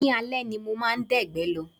Ní alẹ́ ni mo máa dẹ̀gbẹ́ lọ